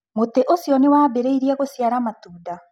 Mũtĩ ũcio nĩ wambĩrĩirie gũciara matunda?